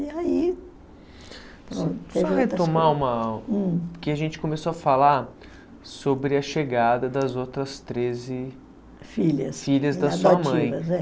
E aí... Só retomar uma... Porque a gente começou a falar sobre a chegada das outras treze filhas filhas da sua mãe